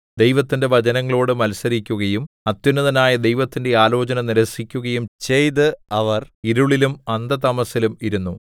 ദൈവത്തിന്റെ വചനങ്ങളോട് മത്സരിക്കുകയും അത്യുന്നതനായ ദൈവത്തിന്റെ ആലോചന നിരസിക്കുകയും ചെയ്ത് അവർ ഇരുളിലും അന്ധതമസ്സിലും ഇരുന്നു